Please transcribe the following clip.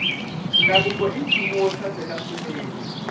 ndhavuko i nchumu wo saseka swinene